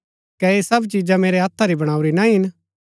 कै ऐह सब चिजा मेरै हत्था री बणाऊरी ना हिन